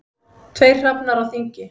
Tveir hrafnar á þingi.